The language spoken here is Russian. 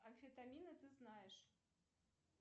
амфетамины ты знаешь